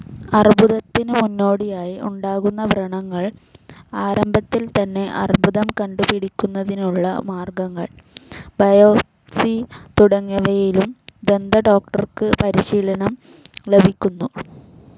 അർബുദത്തിന് മുന്നോടിയായി ഉണ്ടാക്കുന്ന വ്രണങ്ങൾ, ആരംഭത്തിൽതന്നെ അർബുദം കണ്ടുപിടിക്കുന്നതിനുളള മാർഗങ്ങൾ, ബയോപ്സി തുടങ്ങിയവയിലും ദന്തഡോക്ടർക്ക് പരിശീലനം ലഭിക്കുന്നു.